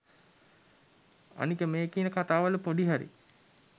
අනික මේ කියන කතාවල පොඩි හරි